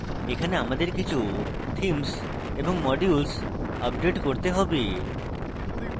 এখানে আমাদের কিছু themes এবং modules আপডেট করতে have